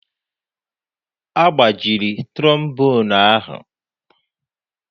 Agbajiri trombonu ahụ